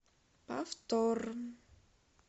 повтор